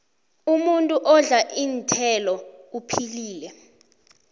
umuntu odla iinthelo uphilile